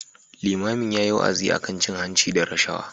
Limamin yayi wa'azi akan cin hanci da rashawa.